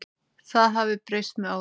Það hafi breyst með árunum.